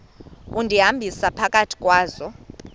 undihambisa phakathi kwazo